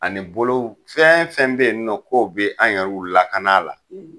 Ani bolo fɛn fɛn bɛ yen nɔ ko bɛ an yɛrɛw lakana a la